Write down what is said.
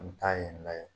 An bɛ taa yen nɔ yen